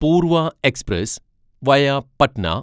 Poorva express via Patna